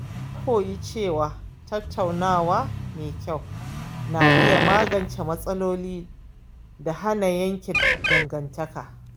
Na koyi cewa tattaunawa mai kyau na iya magance matsaloli da hana yanke dangantaka.